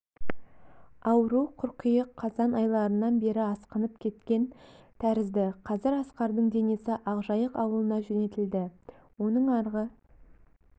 ауру қыркүйек-қазан айларынан бері асқынып кеткен тәрізді қазір асқардың денесі ақжайық ауылына жөнелтілді оның арғы